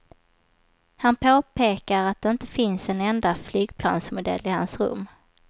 Han påpekar att det inte finns en enda flygplansmodell i hans rum.